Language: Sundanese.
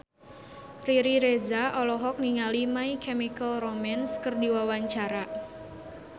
Riri Reza olohok ningali My Chemical Romance keur diwawancara